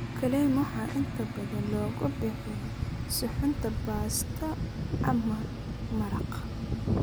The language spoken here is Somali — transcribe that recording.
Clams waxaa inta badan lagu bixiyaa suxuunta baasto ama maraqa.